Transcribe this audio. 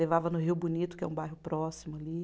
Levava no Rio Bonito, que é um bairro próximo ali.